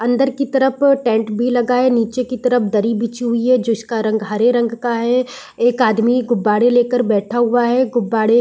अंदर की तरफ टेंट भी लगा है नीचे की तरफ दरी बिछी हुई है जिसका रंग हरे रंग का है एक आदमी गुब्बारे ले कर बैठा हुआ है गुब्बारे --